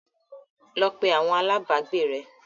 Lọ pé àwọn alágbàágbé rẹ l!